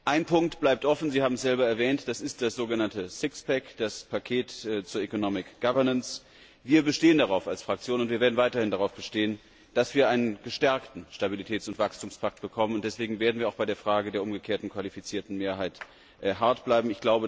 Ein Punkt bleibt offen, Sie haben es selber erwähnt Das ist das so genannte Sixpack, das Paket zur Economic Governance. Wir als Fraktion bestehen darauf und werden weiterhin darauf bestehen, dass wir einen gestärkten Stabilitäts und Wachstumspakt bekommen, deswegen werden wir auch bei der Frage der umgekehrten qualifizierten Mehrheit hart bleiben.